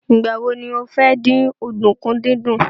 Ìgbà wo ni o fẹ́ dín ọ̀dùnkún dídún?